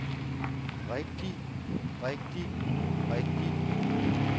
rigtig rigtig rigtig